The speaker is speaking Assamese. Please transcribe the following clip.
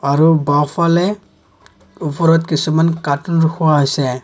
আৰু বাওঁফালে ওপৰত কিছুমান কাৰ্টুন ৰখোৱা হৈছে।